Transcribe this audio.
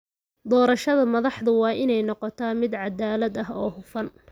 Doorashada madaxdu waa inay noqotaa mid cadaalad ah oo hufan.